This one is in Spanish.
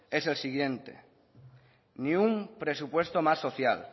es el siguiente ni un presupuesto más social